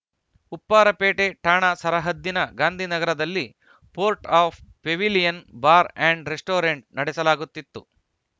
ಉಪ್ಪಾರಪೇಟೆ ಠಾಣಾ ಸರಹದ್ದಿನ ಗಾಂಧಿನಗರದಲ್ಲಿ fort of pavilion bar and restaurant ನಡೆಸಲಾಗುತ್ತಿತ್ತು